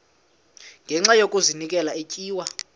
ngenxa yokazinikela etywa